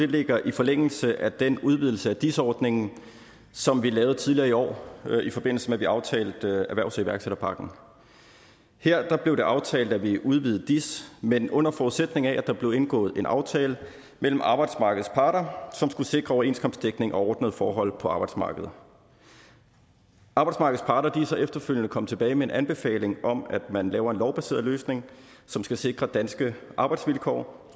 ligger i forlængelse af den udvidelse af dis ordningen som vi lavede tidligere i år i forbindelse med at vi aftalte erhvervs og iværksætterpakken her blev det aftalt at vi udvidede dis men under forudsætning af at der blev indgået en aftale mellem arbejdsmarkedets parter som skulle sikre overenskomstdækning og ordnede forhold på arbejdsmarkedet arbejdsmarkedets parter er så efterfølgende kommet tilbage med en anbefaling om at man laver en lovbaseret løsning som skal sikre danske arbejdsvilkår